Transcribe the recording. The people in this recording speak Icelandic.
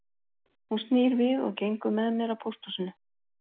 Hún snýr við og gengur með mér að pósthúsinu